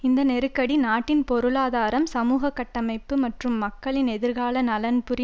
இந்த நெருக்கடி நாட்டின் பொருளாதாரம் சமூக கட்டமைப்பு மற்றும் மக்களின் எதிர்கால நலன்புரி